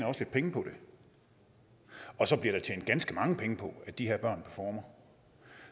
også lidt penge på det og så bliver der tjent ganske mange penge på at de her børn performer